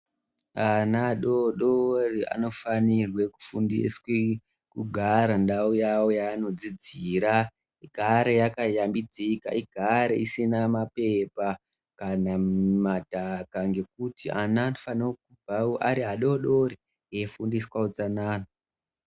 Ana adodori anofanire kufundiswa kugara ndau yawo yaanodzidzira igare yakayambidzika igare isina mapepa kana madhaka ngekuti ana anofana kubva Ari adodori eifundiswa utsanana.